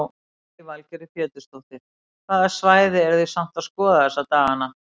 Lillý Valgerður Pétursdóttir: Hvaða svæði eru þið samt að skoða þessa daganna?